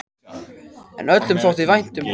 En öllum þótti vænt um hann.